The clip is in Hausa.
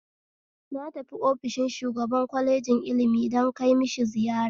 Na tafi ofishin shugaban kwalejin ilmi don kai mishi ziyara